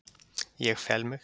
Ég fel mig.